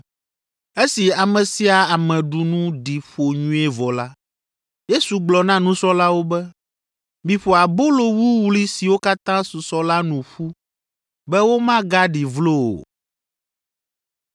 Esi ame sia ame ɖu nu ɖi ƒo nyuie vɔ la, Yesu gblɔ na nusrɔ̃lawo be, “Miƒo abolo wuwlui siwo katã susɔ la nu ƒu be womagaɖi vlo o.”